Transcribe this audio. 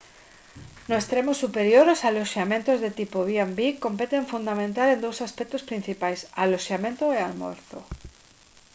no extremo superior os aloxamentos de tipo b&b competen fundamental en dous aspectos principais aloxamento e almorzo